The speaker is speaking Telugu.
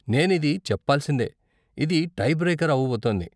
నేనిది చెప్పాల్సిందే, ఇది టై బ్రేకర్ అవబోతోంది.